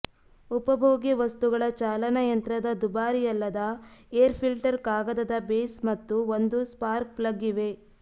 ಉಪಭೋಗ್ಯ ವಸ್ತುಗಳ ಚಾಲನಯಂತ್ರದ ದುಬಾರಿಯಲ್ಲದ ಏರ್ ಫಿಲ್ಟರ್ ಕಾಗದದ ಬೇಸ್ ಮತ್ತು ಒಂದು ಸ್ಪಾರ್ಕ್ ಪ್ಲಗ್ ಇವೆ